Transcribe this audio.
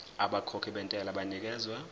abakhokhi bentela banikezwa